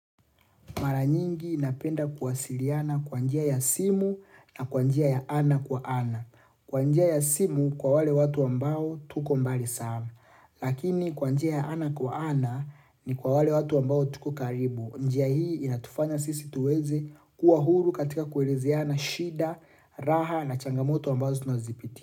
Mara nyingi napenda kuwasiliana kwa njia ya simu na kwa njia ya ana kwa ana. Kwa njia ya simu kwa wale watu ambao tuko mbali sana. Lakini kwanjia ya ana kwa ana ni kwa wale watu ambao tuko karibu. Njia hii inatufanya sisi tuweze kuwa huru katika kuelezeana shida, raha na changamoto ambazo tunazipitia.